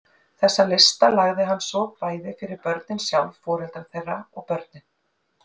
Þessa lista lagði hann svo bæði fyrir börnin sjálf, foreldra þeirra og kennara.